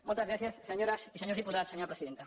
moltes gràcies senyores i senyors diputats senyora presidenta